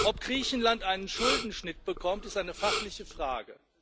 Ob Griechenland einen Schuldenschnitt bekommt, ist eine fachliche Frage.